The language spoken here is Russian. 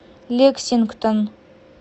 лексингтон